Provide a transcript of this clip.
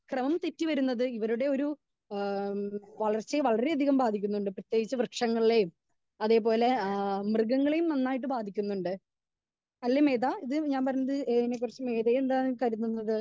Speaker 2 ക്രെമം തെറ്റി വരുന്നത് ഏ വളർച്ചയെ വളരെ അതികം ബാധികംന്നുണ്ട്.ബാധിക്കുന്നുണ്ട്. പ്രേതേകിച്ച് വൃക്ഷങ്ങളെയും അതേപോലെ ആ മൃഗങ്ങളെയും നന്നായിട്ട് ബാധിക്കുന്നണ്ട്. അല്ലേ മേത ഇതിനെക്കുറിച്ച് മേത എന്താണ് കരുതുന്നത്?